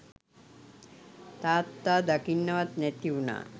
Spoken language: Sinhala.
තාත්තා දකින්නවත් නැති වුණා.